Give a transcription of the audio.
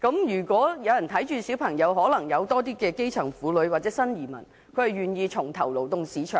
如果子女有人照顧，便可能會有較多基層婦女或新移民願意重投勞動市場。